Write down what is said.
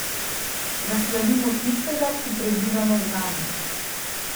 Da slavimo tistega, ki prebiva med nami.